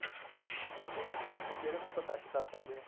ਠੀਕ ਏ ਜੀ ਕਿਉਂਕਿ ਇਹਨਾ ਨੂੰ ਆਪਾਂ touch ਕਰ ਸਕਦੇ ਆ